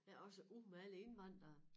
Ja også ud med alle indvandrere